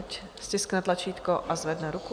Ať stiskne tlačítko a zvedne ruku.